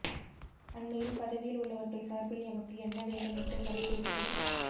அண்மையில் பதவியில் உள்ளவர்கள் சார்பில் எமக்கு என்ன வேண்டும் என்று தொலைபேசியில்